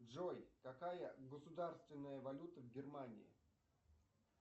джой какая государственная валюта в германии